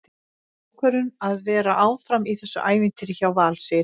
Svo tók ég þá ákvörðun að vera áfram í þessu ævintýri hjá Val, segir Freyr.